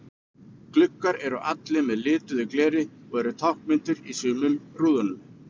Gluggar eru allir með lituðu gleri og eru táknmyndir í sumum í rúðum.